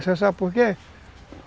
Você sabe por quê?